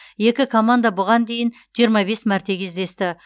екі команда бұған дейін жиырма бес мәрте кездесті